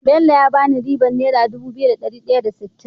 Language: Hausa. Bello ya bani ribar naira dubu biyu da dari daya da sittin